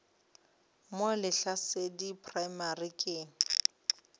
mo lehlasedi primary school ke